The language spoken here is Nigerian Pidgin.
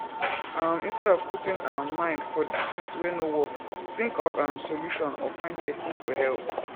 um instead of putting um mind for di things wey no work think of um solution or find persin to help